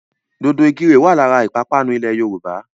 Dòdò ìkirè wà lára ìpapánu ilẹ̀ Yorùbá.